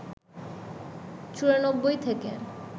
চুরানব্বই থেকে